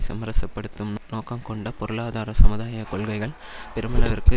சமரசப்படுத்தும் நோக்கங்கொண்ட பொருளாதார சமுதாய கொள்கைகள் பெருமளவிற்கு